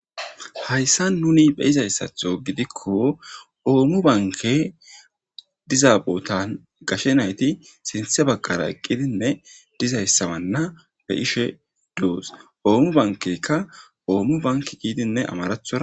Hayssa nuni be izayssatho gidikko oommu banke diza bootan gashe nayti sinthe baggara eqqidinne dizayssawanna be ishe doos oommu bankeykka oommu banki giidinne amarathora.